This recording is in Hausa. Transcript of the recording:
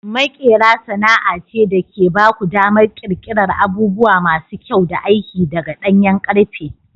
Maƙera sana'a ce da ke ba ku damar ƙirƙirar abubuwa masu kyau da aiki daga ɗanyen ƙarfe.